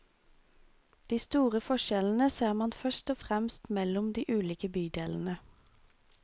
De store forskjellene ser man først og fremst mellom de ulike bydelene.